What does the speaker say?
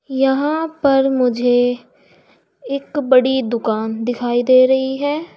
यहां पर मुझे एक बड़ी दुकान दिखाई दे रही है।